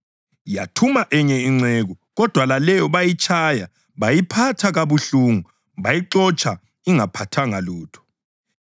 Yathuma enye inceku kodwa laleyo bayitshaya bayiphatha kabuhlungu, bayixotsha ingaphathanga lutho.